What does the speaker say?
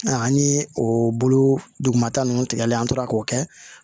Aa an ni o bolomata ninnu tigɛli an tora k'o kɛ